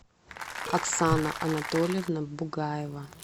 оксана анатольевна бугаева